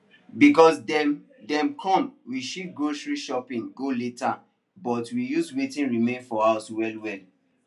because dem dem come we shift grocery shopping go later but we use wetin remain for house well well